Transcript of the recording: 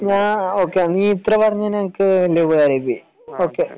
ആഹ് നീ ഇത്ര പറഞ്ഞെന്ന് എനിക്ക് വലിയ ഉപകരായിപ്പോയി ഓക്കേ